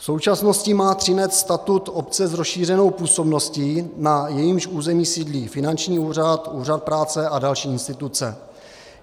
V současnosti má Třinec statut obce s rozšířenou působností, na jejímž území sídlí finanční úřad, úřad práce a další instituce.